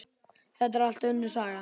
Þetta er allt önnur saga!